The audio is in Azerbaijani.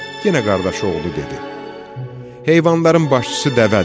Yenə qardaş oğlu dedi: "Heyvanların başçısı dəvədir.